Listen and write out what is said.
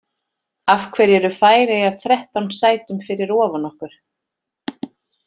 Af hverju eru Færeyjar þrettán sætum fyrir ofan okkur?